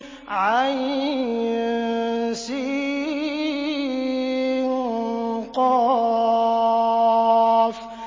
عسق